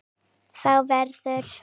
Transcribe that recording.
Þá verður